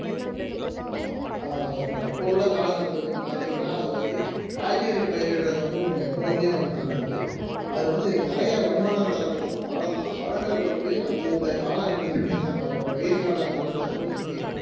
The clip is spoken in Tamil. ஆஹ் அதை நான் சொல்றேன் இப்ப உள்ள காலகட்டத்தில் பார்த்தீங்கன்னா அது வந்து காய்கறி பயிரிடுவது வந்து உங்களுக்கு எப்பவுமே வந்து நல்லது அதுல வந்து நிறைய வருமானம் தரக்கூடிய பழம்தான் பழங்கள் வந்து அந்தந்த காலகட்டத்துக்கு ஏத்த மாதிரி இருக்கும் இப்ப வெயில் காலங்கள்ல தர்பூசணி